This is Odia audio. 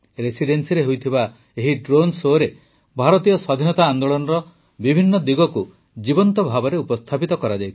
ରେସିଡେନ୍ସିରେ ହୋଇଥିବା ଏହି ଡ୍ରୋନ ଶୋରେ ଭାରତୀୟ ସ୍ୱାଧୀନତା ଆନ୍ଦୋଳନର ବିଭିନ୍ନ ଦିଗକୁ ଜୀବନ୍ତ ଭାବେ ଉପସ୍ଥାପିତ କରାଯାଇଥିଲା